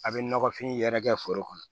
A' bɛ nɔgɔfin yɛrɛ kɛ foro kɔnɔ